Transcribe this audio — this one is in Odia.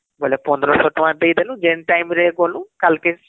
ବୋଲେ ୧୫୦୦ ଟଙ୍କା ଦେଇଦେଲୁ , ଯେନ time ରେ ଗଲୁ କାଲକେ